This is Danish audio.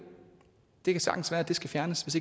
det kan sagtens være at den skal fjernes hvis